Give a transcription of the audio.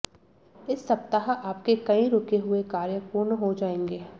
इस सप्ताह आपके कई रुके हुए कार्य पूरे हो जाएंगे